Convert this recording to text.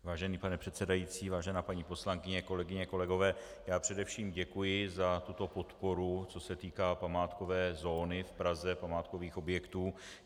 Vážený pane předsedající, vážená paní poslankyně, kolegyně, kolegové, já především děkuji za tuto podporu, co se týká památkové zóny v Praze, památkových objektů.